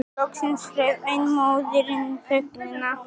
Loksins rauf ein móðirin þögnina.